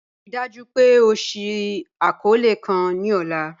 Ríì dájú pé ọ ṣìí akọọlẹ̀ kàn ni ọ̀là